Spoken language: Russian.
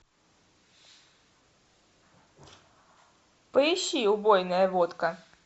поищи убойная водка